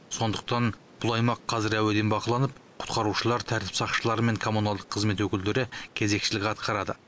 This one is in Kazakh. сондықтан бұл аймақ қазір әуеден бақыланып құтқарушылар тәртіп сақшылары мен коммуналдық қызмет өкілдері кезекшілік атқарады